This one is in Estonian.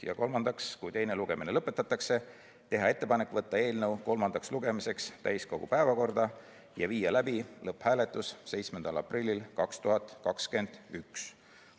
Ja kolmandaks, kui teine lugemine lõpetatakse, teha ettepanek võtta eelnõu kolmandaks lugemiseks täiskogu päevakorda ja viia läbi lõpphääletus 7. aprillil 2021.